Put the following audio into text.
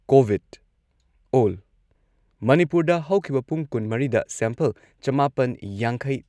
COVID ꯑꯣꯜ ꯃꯅꯤꯄꯨꯔꯗ ꯍꯧꯈꯤꯕ ꯄꯨꯡ ꯀꯨꯟꯃꯔꯤꯗ ꯁꯦꯝꯄꯜ ꯆꯃꯥꯄꯟ ꯌꯥꯡꯈꯩ